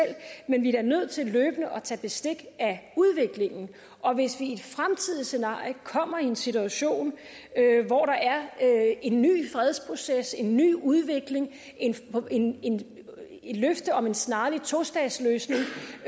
men vi er da nødt til løbende at tage bestik af udviklingen og hvis vi i et fremtidigt scenarie kommer i en situation hvor der er en ny fredsproces en ny udvikling et løfte om en snarlig tostatsløsning